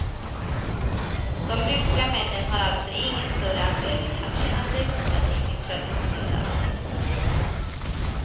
De ryska männen har alltså ingen större anledning att känna sig hotade i sin traditionella roll.